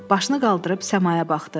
Başını qaldırıb səmaya baxdı.